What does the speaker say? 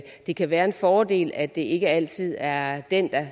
det kan være en fordel at det ikke altid er den